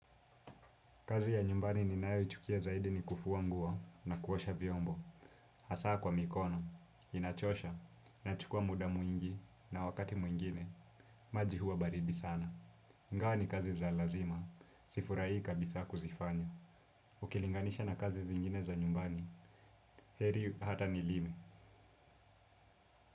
Kazi ya nyumbani ninayo ichukia zaidi ni kufua nguo na kuosha vyombo. Hasa kwa mikono, inachosha, nachukua muda mwingi na wakati mwingine, maji huwa baridi sana. Ngao ni kazi za lazima, sifuraii kabisa kuzifanya. Ukilinganisha na kazi zingine za nyumbani, heri hata nilime.